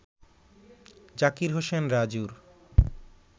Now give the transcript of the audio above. জাকির হোসেন রাজুর